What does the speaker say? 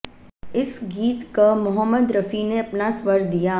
इस गीत क मोहम्मद रफी ने अपना स्वर दिया